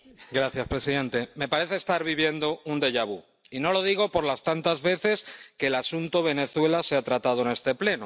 Señor presidente, me parece estar viviendo un y no lo digo por las tantas veces que el asunto Venezuela se ha tratado en este Pleno.